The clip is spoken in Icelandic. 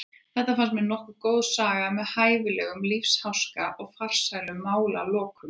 Þetta fannst mér nokkuð góð saga með hæfilegum lífsháska og farsælum málalokum.